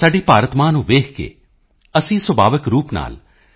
ਸਾਡੀ ਭਾਰਤ ਮਾਂ ਨੂੰ ਵੇਖ ਕੇ ਅਸੀਂ ਸੁਭਾਵਿਕ ਰੂਪ ਨਾਲ ਸ